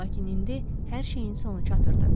Lakin indi hər şeyin sonu çatırdı.